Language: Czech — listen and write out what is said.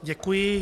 Děkuji.